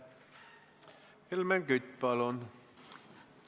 Helmen Kütt, palun!